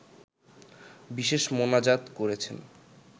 বিশেষ মোনাজাত করেছেন